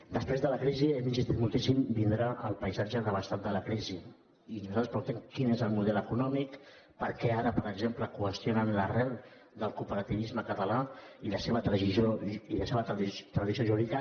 després de la crisi hi hem insistit moltíssim vindrà el paisatge devastat de la crisi i nosaltres preguntem quin és el model econòmic per què ara per exemple qüestionen l’arrel del cooperativisme català i la seva tradició jurídica